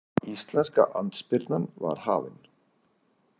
Íslenska andspyrnan var hafin.